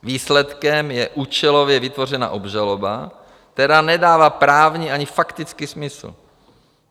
Výsledkem je účelově vytvořená obžaloba, která nedává právní ani faktický smysl.